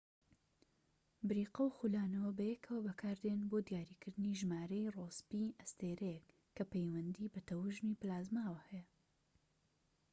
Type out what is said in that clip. بریقە و خولانەوە بەیەکەوە بەکاردێن بۆ دیاریکردنی ژمارەی ڕۆسبی ئەستێرەیەک، کە پەیوەندی بە تەوژمی پلازماوە هەیە‎